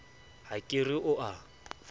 ha ke re o a